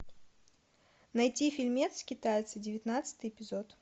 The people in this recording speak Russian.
найти фильмец китайцы девятнадцатый эпизод